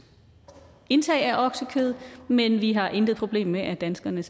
indtag af oksekød men vi har intet problem med at danskerne